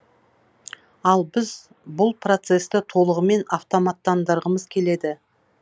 ал біз бұл процесті толығымен автоматтандырғымыз келеді